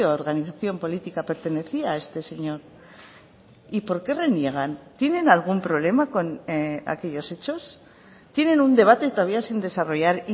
organización política pertenecía este señor y por qué reniegan tienen algún problema con aquellos hechos tienen un debate todavía sin desarrollar